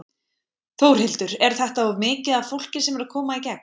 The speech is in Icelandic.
Þórhildur: Er þetta of mikið af fólki sem er að koma í gegn?